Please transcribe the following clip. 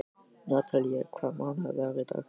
Natalía, hvaða mánaðardagur er í dag?